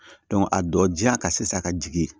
a dɔ ja ka se sisan ka jigin